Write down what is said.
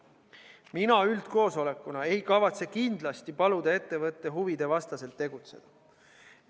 Mina üldkoosolekuna ei kavatse kindlasti paluda ettevõtte huvide vastaselt tegutseda.